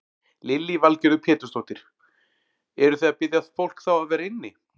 Lillý Valgerður Pétursdóttir: Eruð þið að biðja fólk þá að vera inni?